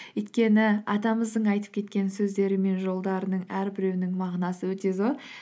өйткені атамыздың айтып кеткен сөздері мен жолдарының әрбіреуінің мағынасы өте зор